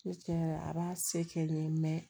Ne tiɲɛ yɛrɛ a b'a se kɛ n ye